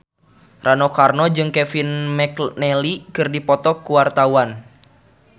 Rano Karno jeung Kevin McNally keur dipoto ku wartawan